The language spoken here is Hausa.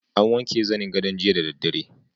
An wanke zanin gadon jiya da dare.